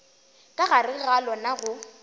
ka gare ga lona go